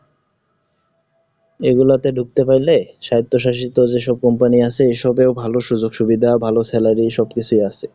এগুলোতে ঢুকতে পারলে সাহিত্য শাসিত যেসব Company আছে, এসবেও ভালো সুযোগ সুবিধা, ভালো salary সব কিছুই আছে।